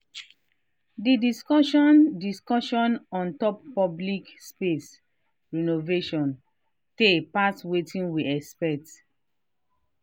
the discussion discussion ontop public space renovation tay pass watin we expect